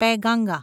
Penganga